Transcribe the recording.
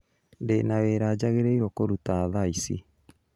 Ndĩna wĩra njagĩrĩirwo kũruta tha ici